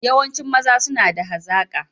Yawancin maza suna da hazaka